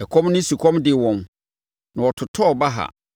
Ɛkɔm ne sukɔm dee wɔn na wɔtotɔɔ baha.